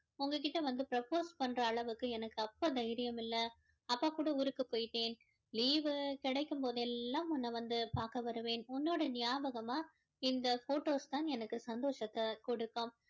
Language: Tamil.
உங்க கிட்ட வந்து propose பண்ற அளவுக்கு எனக்கு அப்போ தைரியம் இல்ல அப்பா கூட ஊருக்கு போயிட்டேன் leave வு கிடைக்கும் போது எல்லாம் உன்ன வந்து பார்க்க வருவேன் உன்னோட ஞாபகமா இந்த photos தான் எனக்கு சந்தோஷத்தை கொடுக்கும்